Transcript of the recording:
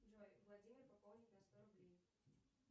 джой владимир пополнить на сто рублей